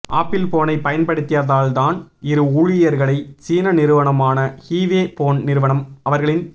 apple போனை பயன்படுத்தியதால் தன் இரு ஊழியர்களை சீன நிறுவனமான ஹூவே போன் நிறுவனம் அவர்களின்